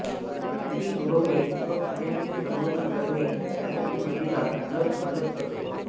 अंडी उबवणे व पिलांचे संगोपन करणे यासाठी मादीला नर मदत करतो